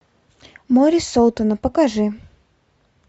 море солтона покажи